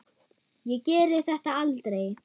Ég geri þetta aldrei.